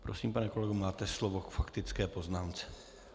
Prosím, pane kolego, máte slovo k faktické poznámce.